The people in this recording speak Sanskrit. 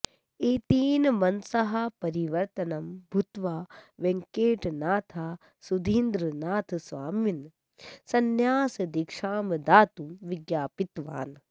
एतेन मनसः परिवर्तनं भूत्वा वेङकटनाथः सुधीन्द्रनाथस्वामिनं संन्यासदीक्षां दातुं विज्ञापितवान्